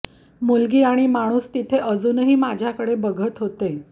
मुलगी आणि माणूस तिथे अजूनही माझ्याकडे बघत होते